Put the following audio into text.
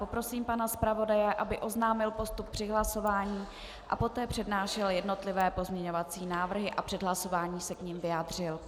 Poprosím pana zpravodaje, aby oznámil postup při hlasování a poté přednášel jednotlivé pozměňovací návrhy a před hlasování se k nim vyjádřil.